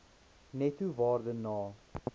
netto waarde na